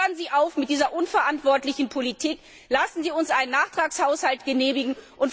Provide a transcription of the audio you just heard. Hören Sie auf mit dieser unverantwortlichen Politik, lassen Sie uns einen Nachtragshaushalt genehmigen.